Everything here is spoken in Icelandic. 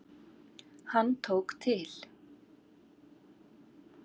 Hann tók til.